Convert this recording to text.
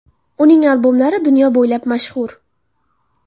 Uning albomlari dunyo bo‘ylab mashhur.